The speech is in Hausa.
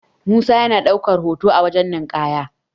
musa yana daukar hoto a wajen ninkaya